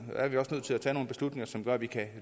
til at tage nogle beslutninger som gør at vi kan